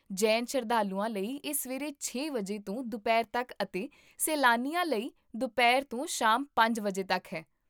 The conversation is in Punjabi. ਜੈਨ ਸ਼ਰਧਾਲੂਆਂ ਲਈ ਇਹ ਸਵੇਰੇ ਛੇ ਵਜੇ ਤੋਂ ਦੁਪਹਿਰ ਤੱਕ ਅਤੇ ਸੈਲਾਨੀਆਂ ਲਈ ਦੁਪਹਿਰ ਤੋਂ ਸ਼ਾਮ ਪੰਜ ਵਜੇ ਤੱਕ ਹੈ